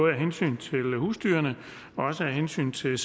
af hensyn til husdyrene men også af hensyn til